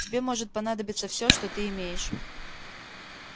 тебе может понадобиться всё что ты имеешь